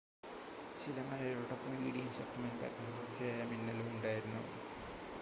ചില മഴയോടൊപ്പം ഇടിയും ശക്തമായ കാറ്റും തുടർച്ചയായ മിന്നലും ഉണ്ടായിരുന്നു